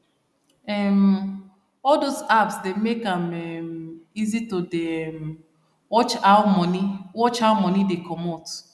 um all those apps dey make am um easy to dey um watch how money watch how money dey comot